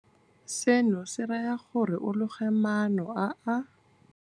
Seno se raya gore o loge maano a a.